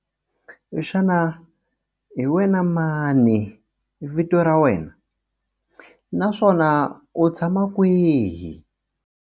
Xana hi wena mani vito ra wena naswona u tshama kwihi?